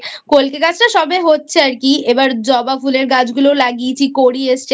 কল্কে গাছটা সবে হচ্ছে আর কি এবার জবা ফুলের গাছগুলোও লাগিয়েছি কড়ি এসেছে।